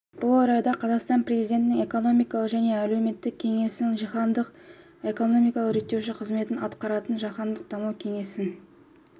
бұл орайда қазақстан президентінің экономикалық және әлеуметтік кеңесін жаһандық экономикалық реттеуші қызметін атқаратын жаһандық даму кеңесі